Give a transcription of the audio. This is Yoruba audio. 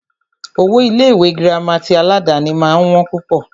Owó Ilé ìwé gírámà tí aládàni máà ń wọ́n púpọ̀.